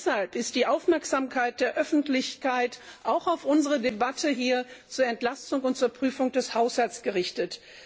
Schon deshalb ist die Aufmerksamkeit der Öffentlichkeit auch auf unsere Debatte hier zur Entlastung und zur Prüfung des Haushalts gerichtet.